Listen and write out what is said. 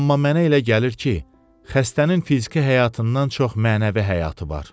Amma mənə elə gəlir ki, xəstənin fiziki həyatından çox mənəvi həyatı var.